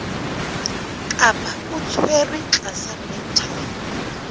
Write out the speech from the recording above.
kapa o tshwerwe tlasa mental